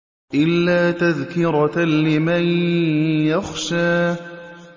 إِلَّا تَذْكِرَةً لِّمَن يَخْشَىٰ